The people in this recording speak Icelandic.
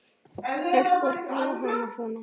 Flest börn hafa hana svona